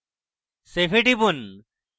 save এ টিপুন